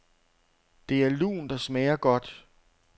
Det er lunt og smager godt.